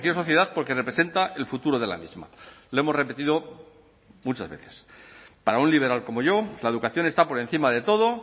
sociedad porque representa el futuro de la misma lo hemos repetido muchas veces para un liberal como yo la educación está por encima de todo